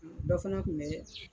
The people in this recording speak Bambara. Dɔ fana Kun bɛ